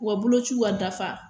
u ka bolociw ka dafa